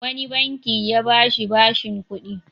Wani banki ya ba shi bashin kuɗi.